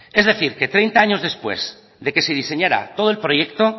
es decir que treinta años después de que se diseñara todo el proyecto